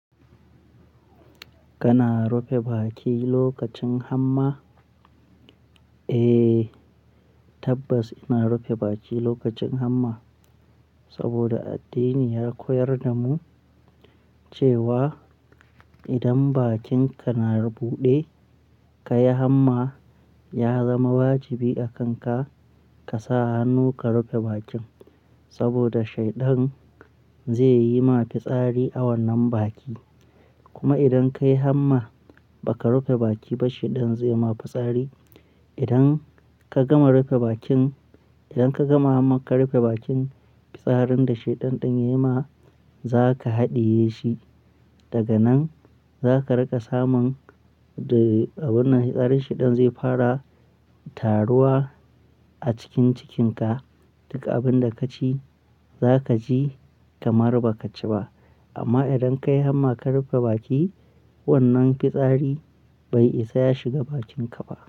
Kana rufe baki lokacin hamma? Eh, tabbas ina rufe baki lokacin hamma. Saboda addini ya koyar da mu cewa idan bakinka na buɗe ka yi hamma, ya zama wajibi a kan ka, ka sa hannu ka rufe bakin saboda shaidan zai yi ma fitsari a wannan baki. Kuma idan ka yi hamma ba ka rufe baki ba shaidan zai ma fitsari. Idan ka gama rufe bakin, idan ka gama hamma ka rufe bakin, fitsarin da shaidan ɗin ya yi ma za ka haɗiye shi. Daga nan za ka riƙa samun, di, abun nan fitsarin shaidan zai fara taruwa a cikin cikinka. Duk abin da ka ci za ka ji kamar ba ka ci ba. Amma idan ka yi hamma ka rufe baki, wannan fitsari bai isa ya shiga bakinka ba.